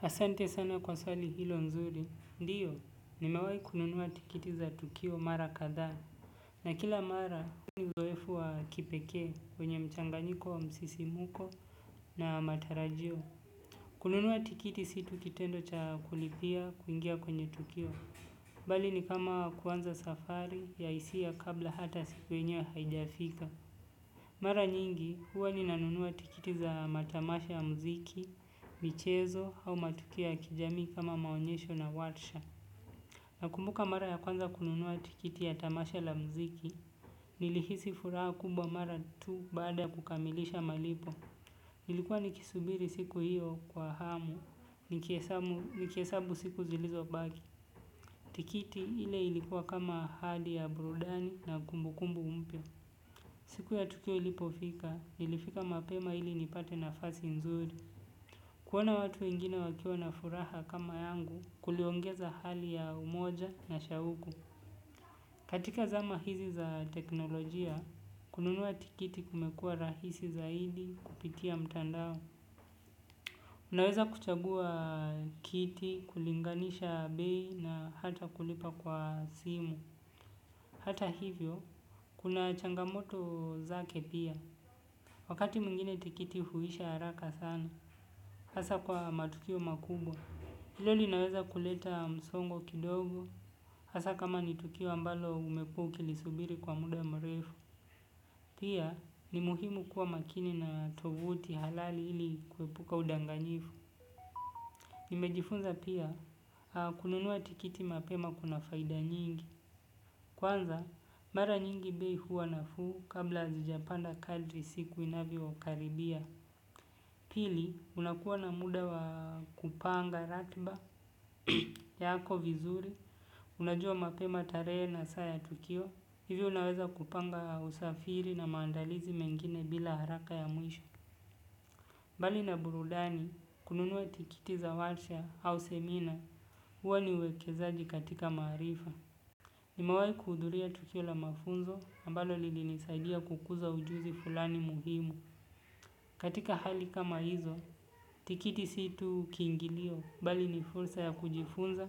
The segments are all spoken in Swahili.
Hasante sana kwa swali hilo nzuri, ndiyo, nimewai kununua tikiti za Tukio Mara Kadha. Na kila mara, ni zoefu wa kipeke, kwenye mchanganyiko wa msisi muko na matarajio. Kununua tikiti situ kitendo cha kulipia kuingia kwenye tukio. Bali ni kama kuanza safari ya isia kabla hata siku yenyewe haijafika. Mara nyingi, huwa ni nanunua tikiti za matamasha ya mziki, michezo au matukio ya kijamii kama maonyesho na watsha. Nakumbuka mara ya kwanza kununua tikiti ya tamasha la mziki, nilihisi furaha kumbwa mara tu baada ya kukamilisha malipo. Nilikuwa nikisubiri siku hiyo kwa hamu, nikiesabu siku zilizobaki. Tikiti ile ilikuwa kama hadi ya burudani na kumbukumbu mpya. Siku ya tukio ilipofika, ilifika mapema ili nipate nafasi nzuri. Kuona watu wengina wakiwa na furaha kama yangu kuliongeza hali ya umoja na shauku. Katika zama hizi za teknolojia, kununua tikiti kumekua rahisi zaidi kupitia mtandao. Unaweza kuchagua kiti, kulinganisha bei na hata kulipa kwa simu. Hata hivyo, kuna changamoto zake pia. Wakati mwingine tikiti huisha haraka sana, hasa kwa matukio makubwa, ilo linaweza kuleta msongo kidogo, hasa kama nitukio ambalo umekua ukilisubiri kwa muda mrefu, pia ni muhimu kuwa makini na tovuti halali ili kuepuka udanganyifu. Nimejifunza pia, kununuwa tikiti mapema kuna faida nyingi. Kwanza, mara nyingi bei huwa nafuu kabla azijapanda kadri siku inavyokaribia. Pili, unakuwa na muda wa kupanga ratba ya ako vizuri. Unajua mapema taree na saa ya tukio. Hivyo unaweza kupanga usafiri na maandalizi mengine bila haraka ya muisho. Mbali na burudani, kununua tikiti za watia au semina, uwa ni uwekezaaji katika marifa. Nimalewai kuhuduria tukio la mafunzo, ambalo lili nisaidia kukuza ujuzi fulani muhimu. Katika hali kama hizo, tikiti situ kingilio, bali ni fursa ya kujifunza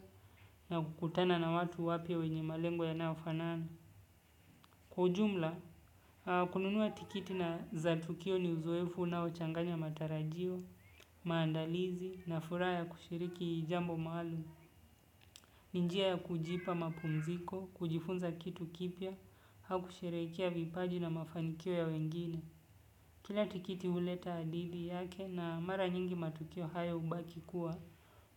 na kukutana na watu wapia wenye malengo yanaofanana. Kwa ujumla kununua tikiti na za tukio ni uzoefu ninjia ya kujipa mapumziko, kujifunza kitu kipya, hakushirikia vipaji na mafanikio ya wengine. Kila tikiti uleta adidi yake na mara nyingi matukio haya ubaki kuwa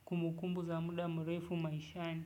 kumukumbu za muda murefu maishani.